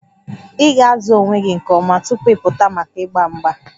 Ị ga-azụ onwe gị nke ọma tupu ị pụta maka mgba mgba